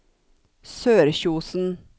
Sørkjosen